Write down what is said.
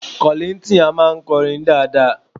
Kọ̀líńtìn a máa kọrin dáadáa